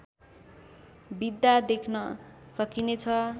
बित्दा देख्न सकिने छ